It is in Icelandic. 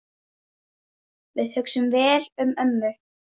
Við hugsum vel um ömmu.